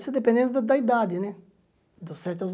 Isso dependendo da da idade, né? dos sete aos